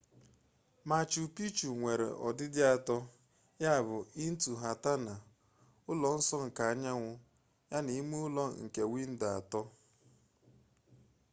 machu picchu nwere ọdịdị atọ ya bụ intihuatana ụlọ nsọ nke anyanwu yana ime ụlọ nke windo atọ